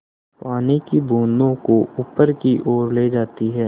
पानी की बूँदों को ऊपर की ओर ले जाती है